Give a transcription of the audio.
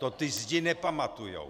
To ty zdi nepamatujou.